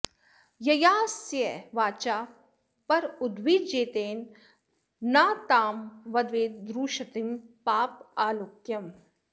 ययास्य वाचा पर उद्विजेत न तां वदेद्रुषतीं पापलोक्याम्